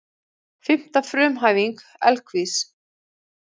Fimmta frumhæfing Evklíðs.